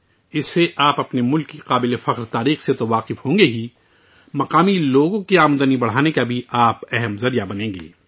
اس سے آپ نہ صرف اپنے ملک کی شاندار تاریخ سے واقف ہوں گے بلکہ آپ مقامی لوگوں کی آمدنی بڑھانے کا ایک اہم ذریعہ بھی بن جائیں گے